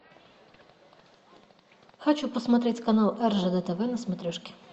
хочу посмотреть канал ржд тв на смотрешке